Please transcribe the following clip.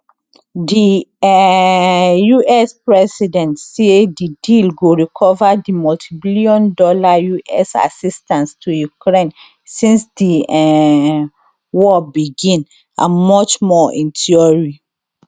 di um us president say di deal go recover di multibillion dollar us assistance to ukraine since di um war begin and much more in theory